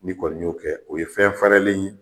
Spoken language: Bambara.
N'i kɔni y'o kɛ o ye fɛn fɛrɛlen ye